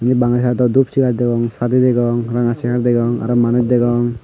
indi bagay site dot dup chare dagong sadi dagong raga chare dagong arow manush dagong.